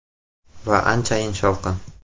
Va anchayin shovqin.